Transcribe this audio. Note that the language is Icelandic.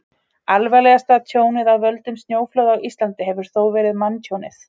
Alvarlegasta tjónið af völdum snjóflóða á Íslandi hefur þó verið manntjónið.